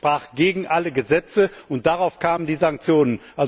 Das verstieß gegen alle Gesetze, und daraufhin kamen die Sanktionen.